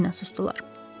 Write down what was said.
Onlar yenə susdular.